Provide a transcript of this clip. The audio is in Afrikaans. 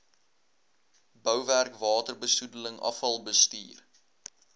bouwerk waterbesoedeling afvalbestuur